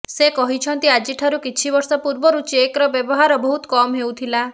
ସେ କହଛନ୍ତି ଆଜିଠାରୁ କିଛି ବର୍ଷ ପୂର୍ବରୁ ଚେକର ବ୍ୟବହାର ବହୁତ କମ ହେଉଥିଲା